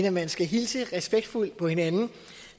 at man skal hilse respektfuldt på hinanden